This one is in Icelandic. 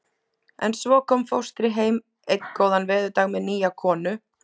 En svo kom fóstri heim einn góðan veðurdag með nýja konu.